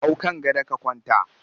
Hau kan gado ka kwanta!